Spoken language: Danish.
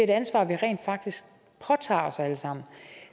ansvar vi rent faktisk påtager os alle sammen